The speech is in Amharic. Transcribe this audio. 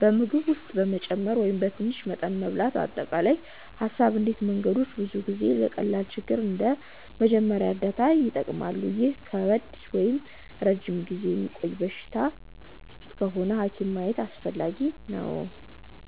በምግብ ውስጥ መጨመር ወይም በትንሽ መጠን መብላት አጠቃላይ ሀሳብ እነዚህ መንገዶች ብዙ ጊዜ ለቀላል ችግር እንደ መጀመሪያ እርዳታ ይጠቀማሉ ግን ከባድ ወይም ረጅም ጊዜ የሚቆይ በሽታ ከሆነ ሐኪም ማየት አስፈላጊ ነው